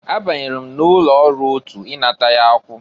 Abanyelu m n'ụlọ ọrụ otụ inata ya akwụ.